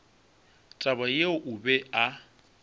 taba yeo o be a